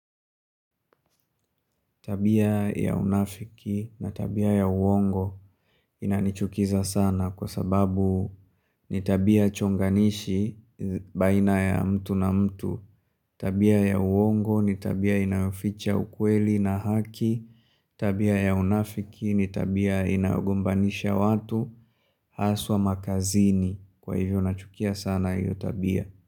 Tabia ya unafiki na tabia ya uongo inanichukiza sana kwasababu ni tabia chonganishi baina ya mtu na mtu. Tabia ya uongo, ni tabia inaficha ukweli na haki. Tabia ya unafiki ni tabia inayogombanisha watu haswa makazini kwahivyo nachukia sana hiyo tabia.